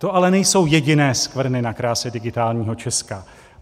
To ale nejsou jediné skvrny na kráse Digitálního Česka.